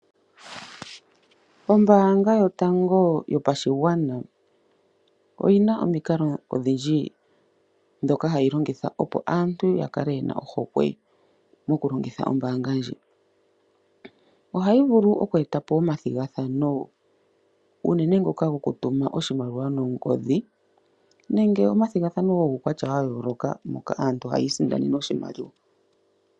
Ombaanga yotango yopashigwana oyina omikalo ondhindji ndhoka hayi longitha, opo aantu ya kale yena ohokwe moku longitha ombaanga ndji. Ohayi vulu oku eta po omathigathano uunene ngoka goku tuma oshimaliwa nongodhi nenge omathigathano guukwatya wa yooloka moka aantu haya isindanene oshimaliwa.